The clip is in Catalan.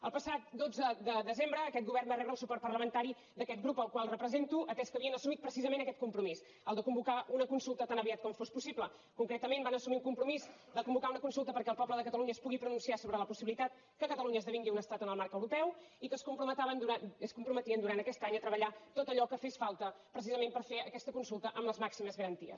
el passat dotze de desembre aquest govern va rebre el suport parlamentari d’aquest grup al qual represento atès que havien assumit precisament aquest compromís el de convocar una consulta tan aviat com fos possible concretament van assumir un compromís de convocar una consulta perquè el poble de catalunya es pugui pronunciar sobre la possibilitat que catalunya esdevingui un estat en el marc europeu i que es comprometien durant aquest any a treballar tot allò que fes falta precisament per fer aquesta consulta amb les màximes garanties